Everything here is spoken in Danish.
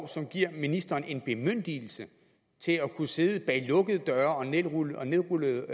som giver ministeren en bemyndigelse til at kunne sidde bag lukkede døre og nedrullede og nedrullede